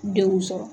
Denw sɔrɔ